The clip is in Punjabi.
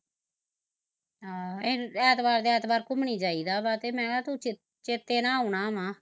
ਹਮ ਐਤਵਾਰ ਦੀ ਐਤਵਾਰ ਘੁਮਣੀ ਜਾਈਦਾ ਵਾਂ ਤੇ ਮੈਂ ਕਿਹਾ, ਤੂੰ ਤੂੰ ਚੇਤੇ ਨਾਲ਼ ਆਉਣਾ ਵਾ